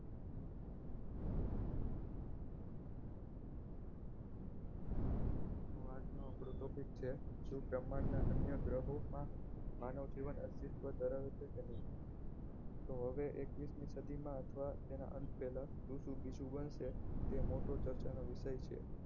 આજનો આપણો topic છે શુ બ્રહ્માંડના અન્ય ગ્રહોમાં માનવજીવન અસ્તિત્વ ધરાવે છે કે નહીં તો હવે એક્વીસ મી સદીમાં અથવા તેના અંત પહેલા જે તે શુ બનશે તે મોટો ચર્ચાનો વિષય છે